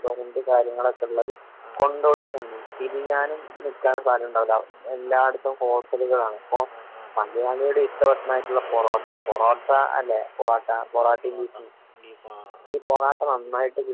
Restaurant കാര്യങ്ങളൊക്കെ ഉള്ളത് കൊണ്ടോട്ടിയിലാണ്. തിരിയാനും നോക്കാനും സ്ഥലം ഉണ്ടാവൂല്ലാ. എല്ലാ ഇടത്തും ഹോട്ടലുകളാണ്. ഇപ്പൊ മലയാളികളുടെ ഇഷ്ട ഭക്ഷനായിട്ടുള്ള പൊറോട്ട. പൊറോട്ട അല്ലെ? പൊറോട്ട പൊറാട്ടിം ബീഫും ഈ പൊറാട്ട നന്നായിട്ട്